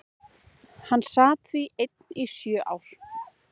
Hann sat því einn í sjö ár.